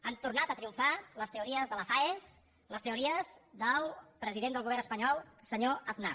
han tornat a triomfar les teories de la faes les teories del president del govern espanyol senyor aznar